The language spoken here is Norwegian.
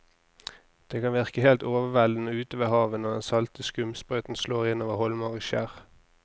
Det kan virke helt overveldende ute ved havet når den salte skumsprøyten slår innover holmer og skjær.